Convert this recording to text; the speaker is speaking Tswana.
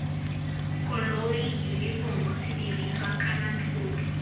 koloi yunifomo sedirisiwa kana thoto